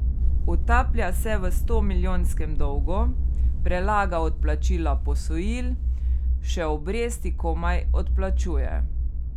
Utaplja se v stomilijonskem dolgu, prelaga odplačila posojil, še obresti komaj odplačuje.